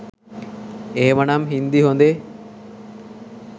එහෙමනම් හින්දි හොඳේ?